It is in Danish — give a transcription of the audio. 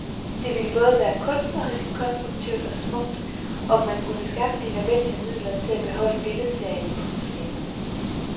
Det ville både være kunstnerisk konstruktivt og smukt, om man kunne skaffe de nødvendige midler til at beholde billedserien på museet.